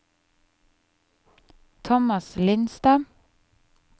Thomas Lindstad